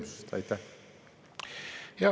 Siis töötavad juhitavad võimsused.